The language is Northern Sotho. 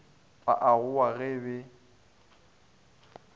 ba a gowa ge be